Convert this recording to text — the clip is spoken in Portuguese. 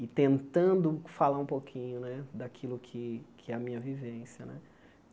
e tentando falar um pouquinho né daquilo que que é a minha vivência né.